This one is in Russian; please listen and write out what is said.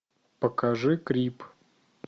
покажи крип